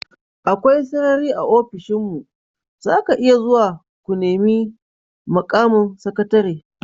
Akwai sarari a ofishinmu, za ka iya zuwa ku nemi mukamin sakatare.